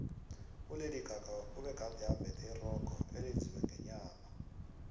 ulady gaga ubegade embethe irogo elenziwe ngenyama